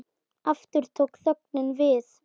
Aftur tók þögnin við og